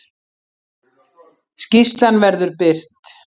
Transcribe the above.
Skýrslan verður birt